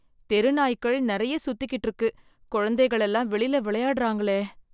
தெருநாய்க்கள் நெறைய சுத்திகிட்டு இருக்கு குழந்தைகள் எல்லாம் வெளியில விளையாடுறாங்களே!